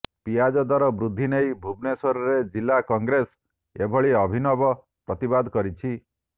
ପିଆଜ ଦର ବୃଦ୍ଧି ନେଇ ଭୁବନେଶ୍ୱରରେ ଜିଲ୍ଲା କଂଗ୍ରେସ ଏଭଳି ଅଭିନବ ପ୍ରତିବାଦ କରିଛି